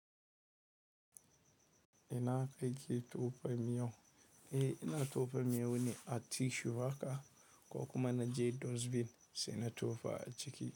Ina ka ke tofa miyau. Eh, ina tofa miyau ne a tissue haka ko kuma na je dustbin sai na tofa a ciki.